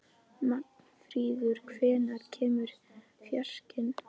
Magnfríður, hvenær kemur fjarkinn?